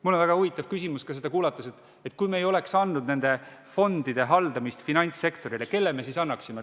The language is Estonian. Mul tekkis huvitav küsimus: kui me ei oleks andnud fondide haldamist finantssektorile, siis kellele me selle annaksime?